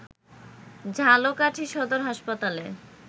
ঝালকাঠী সদর হাসপাতালে